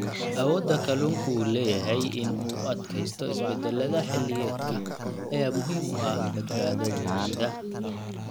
Awoodda kalluunku u leeyahay in uu u adkaysto isbeddellada xilliyeedka ayaa muhiim u ah badbaadadooda.